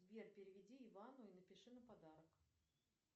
сбер переведи ивану и напиши на подарок